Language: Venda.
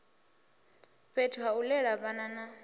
fhethu hau lela vhana na